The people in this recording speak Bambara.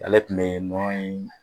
Ale tun bɛ nɔnɔ in